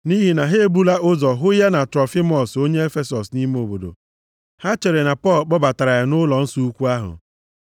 (Nʼihi na ha ebula ụzọ hụ ya na Trofimọs onye Efesọs nʼime obodo, ha chere na Pọl kpọbatara ya nʼụlọnsọ ukwu ahụ.)